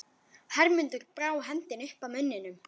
Hermundur brá hendinni upp að munninum.